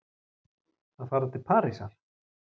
Að fara til Parísar?